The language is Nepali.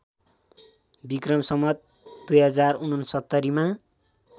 विक्रम सम्वत २०६९ मा